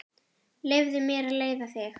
Leyfðu mér að leiða þig.